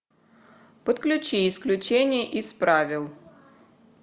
подключи исключение из правил